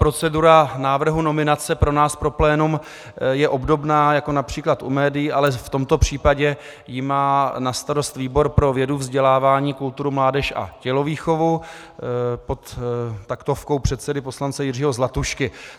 Procedura návrhu nominace pro nás pro plénum je obdobná jako například u médií, ale v tomto případě ji má na starost výbor pro vědu, vzdělávání, kulturu, mládež a tělovýchovu pod taktovkou předsedy poslance Jiřího Zlatušky.